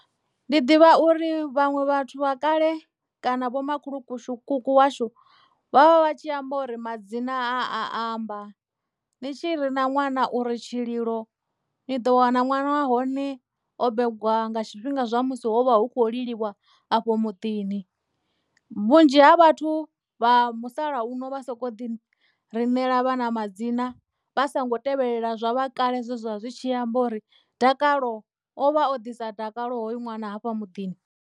Ndi ḓivha uri vhaṅwe vhathu vha kale kana vho makhulukuku washu vhavha vha tshi amba uri madzina a amba ni tshi rina ṅwana uri Tshililo ni ḓo wana uri ṅwana wa hone o begwa nga tshifhinga zwa musi ho vha hu khou liliwa afho muḓini vhunzhi ha vhathu vha musalauno vha soko ḓi rinela vhana madzina vha songo tevhelela zwa vha kale zwezwa zwi tshi amba uri Dakalo ovha o ḓisa dakalo hoyu ṅwana hafha muḓini.